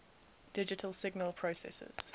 digital signal processors